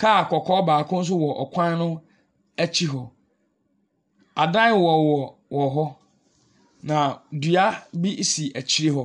Car kɔkɔɔ baako nso ɛwɔ ɔkwan no akyi hɔ. Adan ɛwowowɔ wɔhɔ na dua bi esi akyire hɔ.